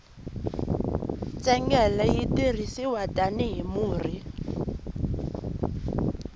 ntsengele yi tirhisiwa tani hi murhi